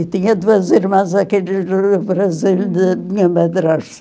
E tinha duas irmãs daqueles do do do Brasil, da minha